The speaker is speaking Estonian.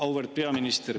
Auväärt peaminister!